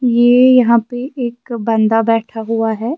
.یہ یہاں پہ ایک بندہ بیٹھا ہوا ہیں